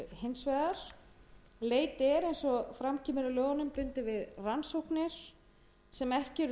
vegar leit er eins og fram kemur í lögunum bundin við rannsóknir sem ekki eru